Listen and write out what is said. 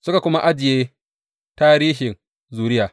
Suka kuma ajiye tarihin zuriya.